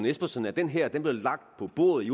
espersen at den her blev lagt på bordet i